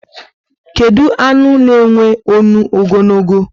Kedu anụ na enwe ọṅụ ogologo?